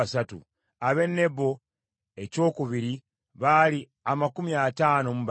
ab’e Nebo ekyokubiri baali amakumi ataano mu babiri (52),